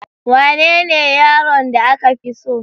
Wanene yaron da aka fi so?